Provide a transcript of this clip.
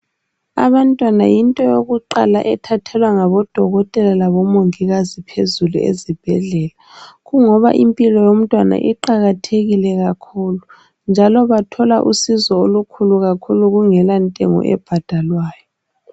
Abantwana yinto yokuqala ethathelwa ngabodokotela labomongikazi phezulu ezibhedlela. Kungoba impilo yomntwana iqakathekile kakhulu njalo bathola usizo olukhulu kakhulu kungela ntengo ebhadalwayo.